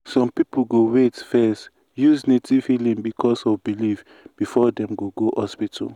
some people go wait first use native healing because of belief before dem go go hospital.